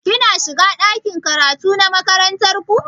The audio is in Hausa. Ki na shiga ɗakin karatu na makarantar ku?